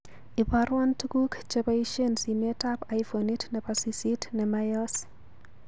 Ibarwon tuguk cheboishen simetab iphonit nebo sisit nemayoos